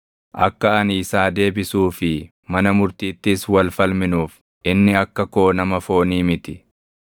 “Akka ani isaa deebisuu fi mana murtiittis wal falminuuf, inni akka koo nama foonii miti.